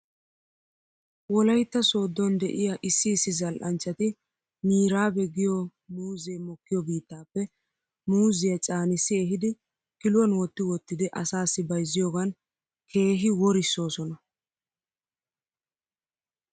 Wolaytta sooddon de'iyaa issi issi zal'anchchati miraabe giyoo muuzee mikkiyoo biittappe muuzziyaa caanissi ehidi kiluwan wotti wottidi asaasi bayzziyoogan keehi worissoosona.